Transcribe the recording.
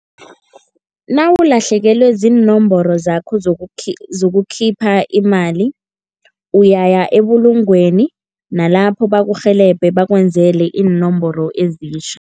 Nawulahlekelwe ziinomboro zakho zokukhipha imali, uyaya ebulungweni nalapho bakurhelebhe bakwenzele iinomboro ezitjha.